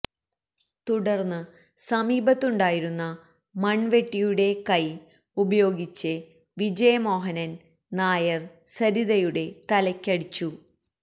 തുടർന്ന് സമീപത്തുണ്ടായിരുന്ന മൺവെട്ടിയുടെ കൈ ഉപയോഗിച്ച് വിജയമോഹനൻ നായർ സരിതയുടെ തലയ്ക്ക് അടിച്ചു